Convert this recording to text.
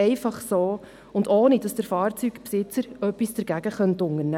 Einfach so und ohne dass der Fahrzeugbesitzer etwas dagegen unternehmen könnte.